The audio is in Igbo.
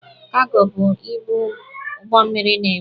Kago bụ ibu ụgbọ mmịrị na-ebu.